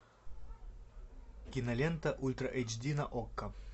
кинолента ультра эйч ди на окко